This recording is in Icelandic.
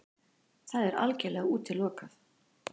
Það er algjörlega útilokað!